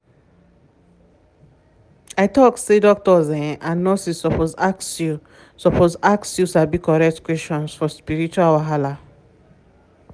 i talk say doctors um and nurses suppose ask you suppose ask you sabi correct questions for spiritual wahala.